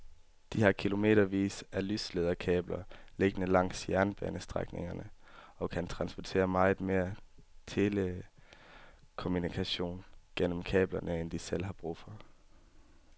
De har kilometervis af lyslederkabler liggende langs jernbanestrækningerne og kan transportere meget mere telekommunikation gennem kablerne end de selv har brug for.